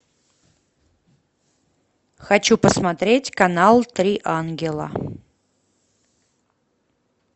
хочу посмотреть канал три ангела